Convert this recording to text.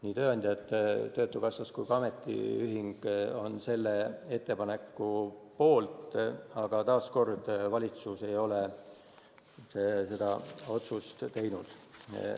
Nii tööandjad, töötukassa kui ka ametiühing on selle ettepaneku poolt, aga taas kord on nii, et valitsus ei ole otsust teinud.